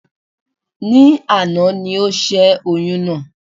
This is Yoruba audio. Ní àná ni ó sè oyún náà